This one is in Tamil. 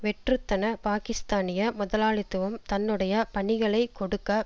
வெற்றுத்தன பாக்கிஸ்தானிய முதலாளித்துவம் தன்னுடைய பணிகளை கொடுக்க